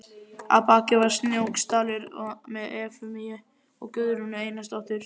Að baki var Snóksdalur með Efemíu og Guðrúnu Einarsdóttur.